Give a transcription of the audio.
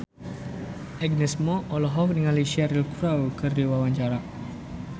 Agnes Mo olohok ningali Cheryl Crow keur diwawancara